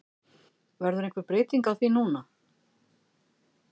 Verður einhver breyting á því núna?